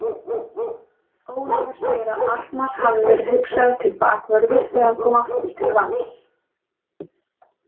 Ólafur segir að Arnar hafi verið hugsaður til bakvörður þegar hann kom aftur til Vals.